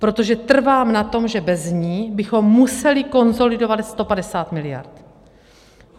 Protože trvám na tom, že bez ní bychom museli konsolidovat 150 miliard.